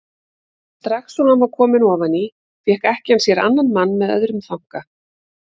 Strax og hann var kominn ofan í fékk ekkjan sér annan mann með öðrum þanka.